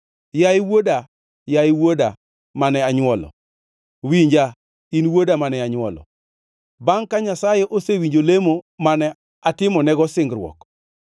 Yaye wuoda, yaye wuoda mane anywolo! Winja, in wuoda mane anywolo bangʼ ka Nyasaye osewinjo lemo mane atimonego singruok.